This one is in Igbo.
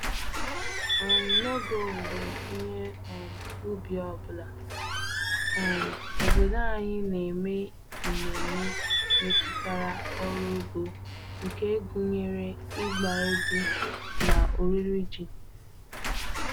um N'oge owuwe ihe um ubi ọ bụla, um obodo anyị na-eme ememe metụtara ọrụ ugbo nke gụnyere ịgba egwu na oriri ji.